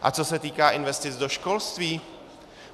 A co se týká investic do školství?